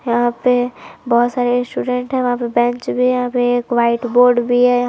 यहां पे बहोत सारे स्टूडेंट है वहां पे बेंच भी है यहां पे एक व्हाइट बोर्ड भी है यहां--